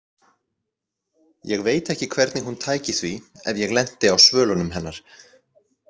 Ég veit ekki hvernig hún tæki því ef ég lenti á svölunum hennar.